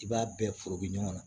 I b'a bɛɛ foro bi ɲɔgɔn na